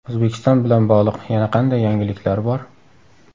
O‘zbekiston bilan bog‘liq yana qanday yangiliklar bor?